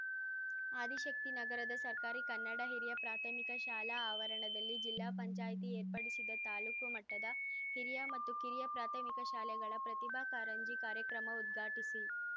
ಆದಿಶಕ್ತಿನಗರದ ಸರ್ಕಾರಿ ಕನ್ನಡ ಹಿರಿಯ ಪ್ರಾಥಮಿಕ ಶಾಲಾ ಆವರಣದಲ್ಲಿ ಜಿಲ್ಲಾ ಪಂಚಾಯ್ತಿ ಏರ್ಪಡಿಸಿದ ತಾಲೂಕು ಮಟ್ಟದ ಹಿರಿಯ ಮತ್ತು ಕಿರಿಯ ಪ್ರಾಥಮಿಕ ಶಾಲೆಗಳ ಪ್ರತಿಭಾ ಕಾರಂಜಿ ಕಾರ್ಯಕ್ರಮ ಉದ್ಘಾಟಿಸಿ